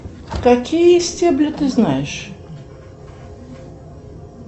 какие стебли ты знаешь